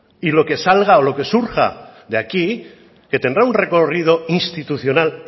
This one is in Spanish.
y lo que salga o lo que surja de aquí que tendrá un recorrido institucional